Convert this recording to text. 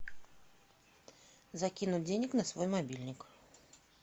закинуть денег на свой мобильник